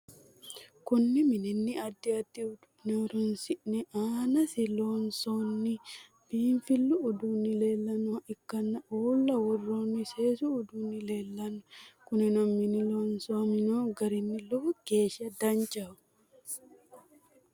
Kunni minni addi addi uduune horoonsi'ne aannasi loonsoonni biinfilu uduunni leelanoha ikanna uula woroonni seesu uduunni leelano. Kunni minni loosamino gari lowo geesha danchaho.